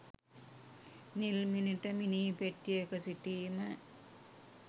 නිල්මිණිට මිනීපෙට්ටියක සිටීම